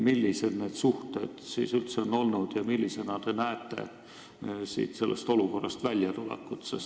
Millised need suhted siis üldse on olnud ja kuidas te loodate sellest olukorrast välja tulla?